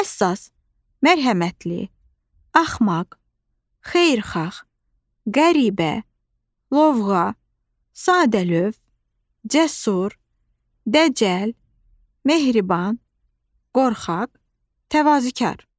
Həssas, mərhəmətli, axmaq, xeyirxah, qəribə, lovğa, sadəlövh, cəsur, dəcəl, mehriban, qorxaq, təvazükar.